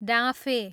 डाँफे